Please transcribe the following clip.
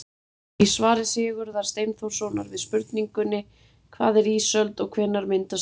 Í svari Sigurðar Steinþórssonar við spurningunni Hvað er ísöld og hvenær myndast hún?